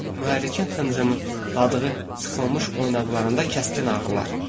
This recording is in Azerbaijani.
Mühər mühərrikin xıncımladığı sıxılmış oynaqlarında kəskin ağrılar.